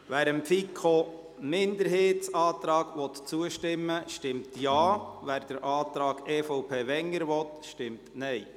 Wer dem Antrag der FiKo-Minderheit zustimmen will, stimmt Ja, wer den Antrag EVP/Wenger will, stimmt Nein.